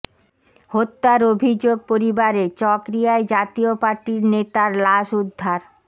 হত্যার অভিযোগ পরিবারের চকরিয়ায় জাতীয় পার্টির নেতার লাশ উদ্ধার